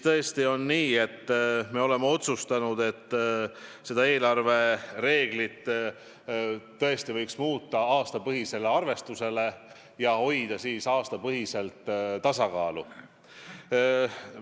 Tõesti on nii, et me oleme otsustanud, et eelarve koostamise reegleid võiks muuta, lähtuda aastapõhisest arvestusest ja siis aastapõhiselt tasakaalu hoida.